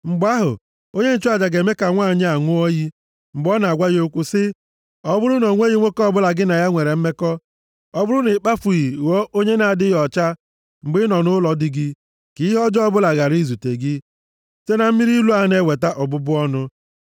Mgbe ahụ, onye nchụaja ga-eme ka nwanyị a ṅụọ iyi, mgbe ọ na-agwa ya okwu sị, “Ọ bụrụ na o nweghị nwoke ọbụla gị na ya nwere mmekọ, ọ bụrụ na ị kpafughị ghọọ onye na-adịghị ọcha mgbe ị nọ nʼụlọ di gị, ka ihe ọjọọ ọbụla ghara izute gị site na mmiri ilu a na-eweta ọbụbụ ọnụ.